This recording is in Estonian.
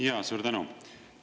Jaa, suur tänu!